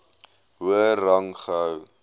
hoër rang gehou